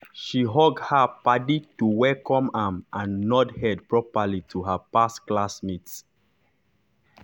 she hug her paddy to welcome am and nod head properly to her past class mate.